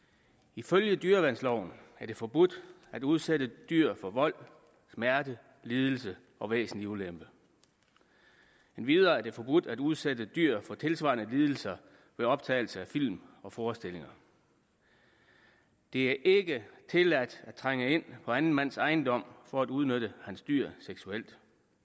ifølge dyreværnsloven er det forbudt at udsætte dyr for vold smerte lidelse og væsentlig ulempe endvidere er det forbudt at udsætte dyrere for tilsvarende lidelser ved optagelse af film og forestillinger det er ikke tilladt at trænge ind på anden mands ejendom for at udnytte hans dyr seksuelt